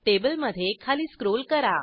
टेबलमधे खाली स्क्रोल करा